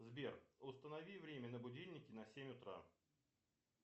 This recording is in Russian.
сбер установи время на будильнике на семь утра